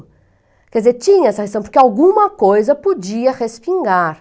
Quer dizer, tinha essa, porque alguma coisa podia respingar.